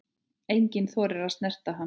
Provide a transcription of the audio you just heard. Enginn þorir að snerta hann.